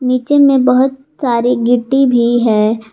नीचे में बहुत सारी गिट्टी भी है।